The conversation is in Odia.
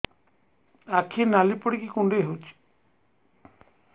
ଆଖି ନାଲି ପଡିକି କୁଣ୍ଡେଇ ହଉଛି